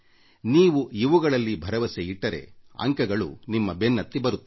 ನೀವು ಇವುಗಳಲ್ಲಿ ಭರವಸೆಯಿಟ್ಟರೆ ಅಂಕಗಳು ನಿಮ್ಮ ಬೆನ್ನತ್ತಿ ಬರುತ್ತವೆ